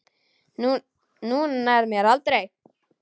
Þú nærð mér aldrei.